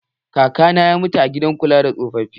Kaka na ya mutu a gidan kula da tsofafi.